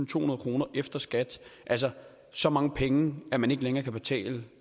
tohundrede kroner efter skat altså så mange penge at man ikke længere kan betale